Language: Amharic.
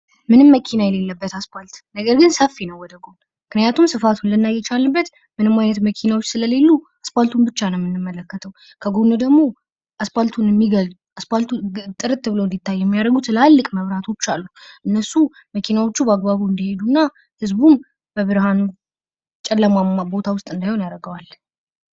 ምንም መኪና የሌለበት አስፋልት ነገር ግን ሰፊ ነው ወደጎን። ምክንያቱም ስፋቱን ልናይ የቻልንበት ምንም መኪናዎች ስለሌሉ አስፋቱን ብቻ ነው የምንመለከተው ከጎን ደግሞ አስፋልቱን ጥርት ብሎ እንድታይ የሚያደርጉት ትላልቅ መብራቶች አሉ። እነሱ መኪናዎች በአግባቡ እንድሄዱ እና ህዝቡ በብርሃን ጨለማማ ቦታ ውስጥ እንዳይሆን ያደርገዋል።